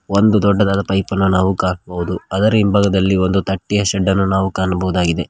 ಒಂದು ದೊಡ್ಡದಾದ ಪೈಪ ನ್ನು ನಾವು ಕಾಣಬಹುದು ಅದರ ಹಿಂಭಾಗದಲ್ಲಿ ಒಂದು ತಟ್ಟೆಯ ಶೆಡ್ಡ ನ್ನು ನಾವು ಕಾಣಬಹುದಾಗಿದೆ.